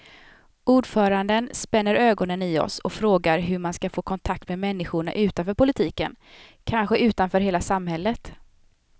Ordföranden spänner ögonen i oss och frågar hur man ska få kontakt med människorna utanför politiken, kanske utanför hela samhället.